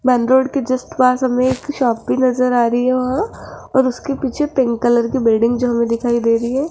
Main road के just पास हमें एक शॉप भी नजर आ रही हो और उसके पीछे पिंक कलर की बिल्डिंग जो हमें दिखाई दे रही है।